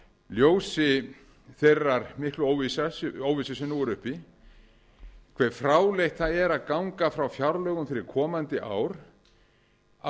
ljósi þeirrar miklu óvissu sem nú er uppi hve fráleitt það að ganga frá fjárlögum fyrir komandi ár á